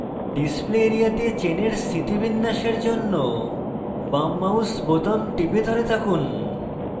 display area তে চেনের স্থিতিবিন্যাসের জন্য বাম mouse বোতাম টিপে ধরে থাকুন